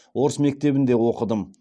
орыс мектебінде оқыдым